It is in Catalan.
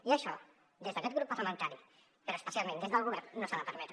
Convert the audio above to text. i això des d’aquest grup parlamentari però especialment des del govern no s’ha de permetre